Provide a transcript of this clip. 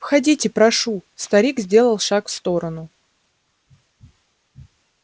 входите прошу старик сделал шаг в сторону